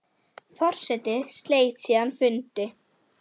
Forseti sleit síðan fundi.